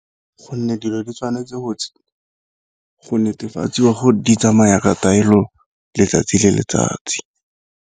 Gonne dilo di tshwanetse go netefatsiwa gore di tsamaya ka taelo letsatsi le letsatsi.